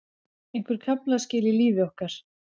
Einhver kaflaskil í lífi okkar.